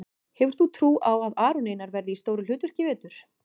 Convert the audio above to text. Hefur þú trú á að Aron Einar verði í stóru hlutverki í vetur?